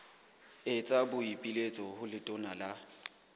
etsa boipiletso ho letona la